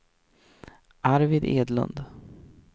Arvid Edlund